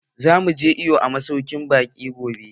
Zamu je iwo a masaukin baƙi gobe.